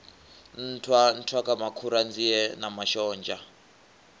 nṱhwa nṱhwamakhura nzie na mashonzha